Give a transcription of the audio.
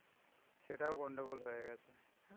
সেটাও গণ্ডগোল হয়ে গ্যাছে.